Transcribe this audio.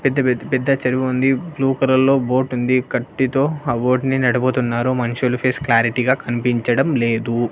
పెద్ద-పెద్ద-పెద్ద చెరువు ఉంది blue colour లో బోట్ ఉంది కట్టితో ఆ బోట్ ని నడుపుతున్నారు మనుషులు ఫేస్ క్లారిటీ గా కనిపించడం లేదు.